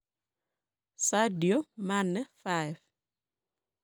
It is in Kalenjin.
Sadio Mane 5.